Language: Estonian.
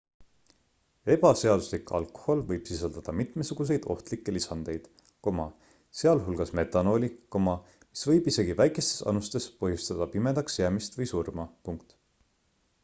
ebaseaduslik alkohol võib sisaldada mitmesuguseid ohtlikke lisandeid sealhulgas metanooli mis võib isegi väikestes annustes põhjustada pimedaks jäämist või surma